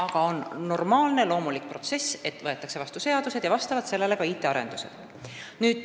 Aga see on normaalne, loomulik protsess, et seadused võetakse vastu ja vastavalt sellele tuleb teha ka IT-arendusi.